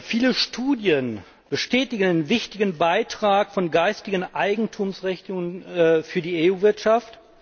Viele Studien bestätigen den wichtigen Beitrag von geistigen Eigentumsrechten für die EU Wirtschaft.